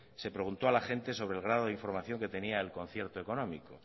se preguntó a la gente sobre el grado de información que tenía del concierto económico